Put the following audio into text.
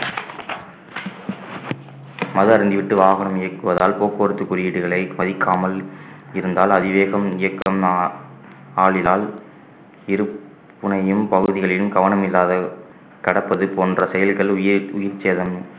மது அருந்திவிட்டு வாகனம் இயக்குவதால் போக்குவரத்து குறியீடுகளை மதிக்காமல் இருந்தாலு அதிவேகம் இயக்கம் ஆ~ ஆளிலால் இருப்புனையும் பகுதிகளிலும் கவனம் இல்லாத கடப்பது போன்ற செயல்கள் உயிர்~ உயிர்ச்சேதமும்